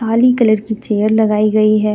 काली colour की chair लगाई गई है.